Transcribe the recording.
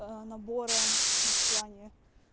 а набора и в плане